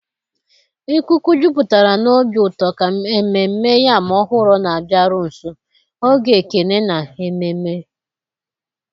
Ikuku jupụtara na obi ụtọ ka Ememme Yam Ọhụrụ na-abịaru nso, oge ekele na ememe.